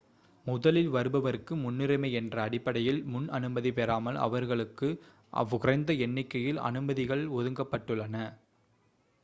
முதலில் வருபவர்க்கு முன்னுரிமை என்ற அடிப்படையில் முன் அனுமதி பெறாமல் வருபவர்களுக்கு குறைந்த எண்ணிக்கையில் அனுமதிகள் ஒதுக்கப்பட்டுள்ளன